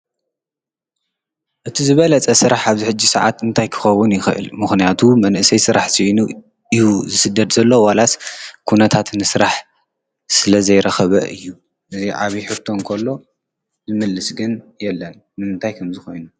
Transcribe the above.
እቲ ዝበለፀ ሥራሕ ኣብ ሕጂ ሰዓት እንታይ ክኸውን ይኽእል ?ምኽንያቱ መንእሰይ ሥራሕ ዘይኑ እዩ ዝስደድ ዘሎ ዋላስ ኲነታት ንሥራሕ ስለ ዘይረኽበ እዩ ነዙ ዓብ ሕርቶ እንኮሎ ዝምልስ ግን የለን። ንምንታይ ከም ዝኾይኑ?